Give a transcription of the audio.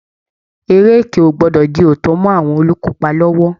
Eré ẹkẹ ò gbọdọ̀ di òótọ́ mọ́ àwọn olùkópa lọ́wọ́